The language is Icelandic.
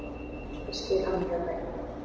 Ég skil hann mjög vel.